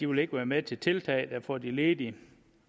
vil være med til tiltag der får de ledige